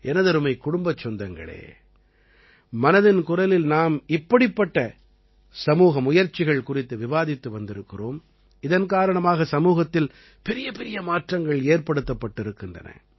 எனதருமை குடும்பச் சொந்தங்களே மனதின் குரலில் நாம் இப்படிப்பட்ட சமூக முயற்சிகள் குறித்து விவாதித்து வந்திருக்கிறோம் இதன் காரணமாக சமூகத்தில் பெரியபெரிய மாற்றங்கள் ஏற்படுத்தப்பட்டிருக்கின்றன